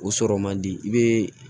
O sɔrɔ man di i bɛ